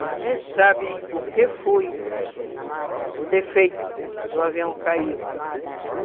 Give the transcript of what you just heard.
Eles nem sabem o que foi o defeito do avião cair.